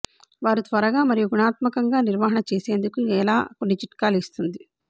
వారు త్వరగా మరియు గుణాత్మకంగా నిర్వహణ చేసేందుకు ఎలా కొన్ని చిట్కాలు ఇస్తుంది